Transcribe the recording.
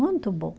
Muito bom.